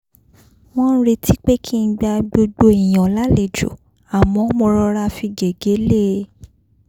wọ́n ń retí pé kí n gba gbogbo èèyàn lálejò àmọ́ mo rọra fi gègé lée